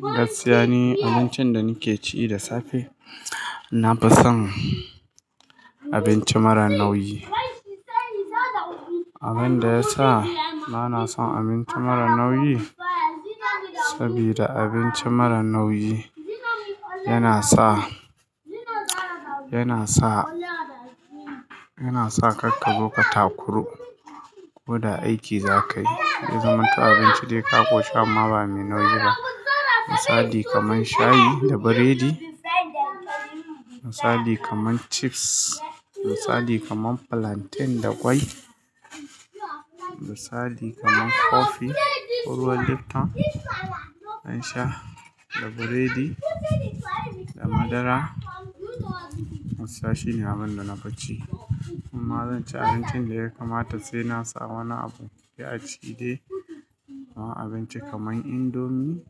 Gaskiya ni abincin da nike ci da safe, na fi son abinci mara nauyi. Abin da yasa bana son abinci mara nauyi saboda abinci mara nauyi yana sa, yana sa, yana sa kar ka zo ka takuru. Ko da aiki za ka yi wajen abincin da ya ƙunshi abubuwa me nauyi misali kamar shayi da burodi, misali kamar chips, misali kamar plantain da ƙwai, misali kamar kofi, ko ruwan lipton na dan sha da burodi da madara. Wannn su ne abin da na fi ci amma zan ci abincin da ya kamata sai na samu wani abu sai a ci de. Abinci kamar indomi,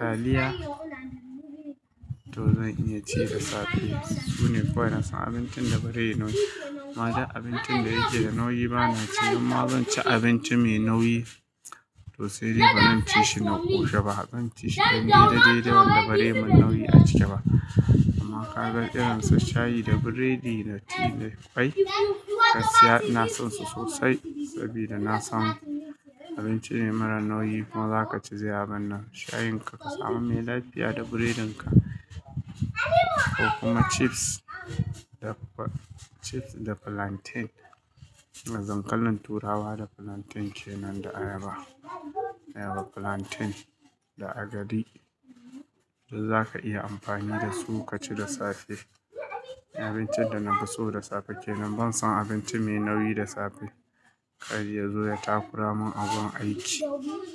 taliya to zan iya ci da safe. Su ne kawai na son abincin da bari yayi nauyi. Amma da abincin da yake da nauyi bana ci, inma zan ci abinci me nauyi to sai dai bazan ci shi na ƙushi ba. Zan ci shi dan dai da dai da wanda ba bare mun nauyi a cike ba. Amma kaga irin su shayi da buredi da ti da ƙwai. Gaskiya ina son su sosai saboda na san abinci ne mara nauyi. Bazaka ci abunka nan shayin ka ka samu mai lafiya da buredin ka. Ko kuma chips da plantain, da dankalin turawa da plantain kenan da ayaba. Ayaba, plantain da agadi. Duk zaka iya amfani da su ka ci da safe. Abincin da na fi so da safe kenan ban son abinci me nauyi da safe. Kar ya zo ya takura mun a gun aiki.